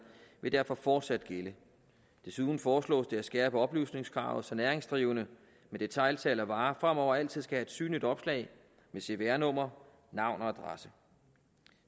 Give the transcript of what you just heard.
vil derfor fortsat gælde desuden foreslås det at skærpe oplysningskravet så næringsdrivende med detailsalg af varer fremover altid skal have et synligt opslag med cpr nummer navn og adresse